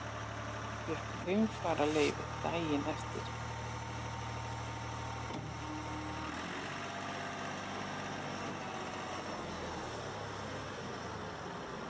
Fékk heimfararleyfi daginn eftir.